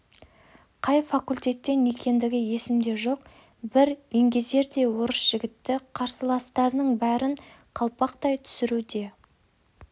қай факультеттен екендігі есімде жоқ бір еңгезердей орыс жігіті қарсыластарының бәрін қалпақтай түсіруде